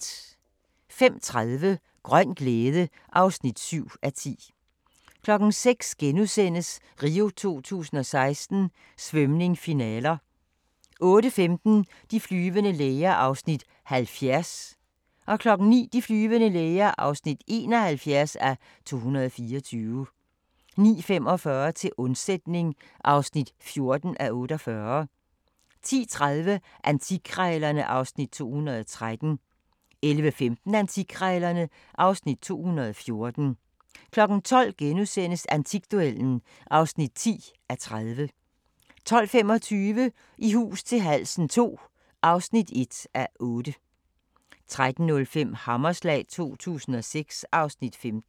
05:30: Grøn glæde (7:10) 06:00: RIO 2016: Svømning, finaler * 08:15: De flyvende læger (70:224) 09:00: De flyvende læger (71:224) 09:45: Til undsætning (14:48) 10:30: Antikkrejlerne (Afs. 213) 11:15: Antikkrejlerne (Afs. 214) 12:00: Antikduellen (10:30)* 12:25: I hus til halsen II (1:8) 13:05: Hammerslag 2006 (Afs. 15)